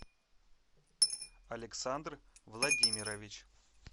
александр владимирович